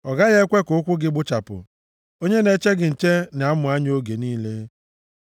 Ọ gaghị ekwe ka ụkwụ gị gbụchapụ, onye na-eche gị nche na-amụ anya oge niile;